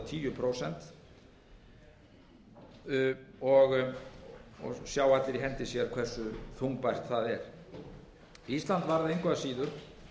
tíu prósent sjá allir í hendi sér hversu þungbært það er ísland varð engu að síður